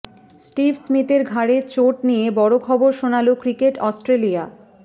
Steve স্মিথের ঘাড়ে চোট নিয়ে বড়ো খবর শোনাল ক্রিকেট অস্ট্রেলিয়া